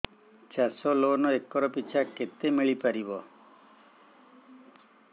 ଚାଷ loan acre ପିଛା କେତେ ମିଳି ପାରିବ